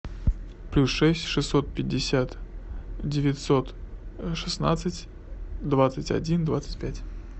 плюс шесть шестьсот пятьдесят девятьсот шестнадцать двадцать один двадцать пять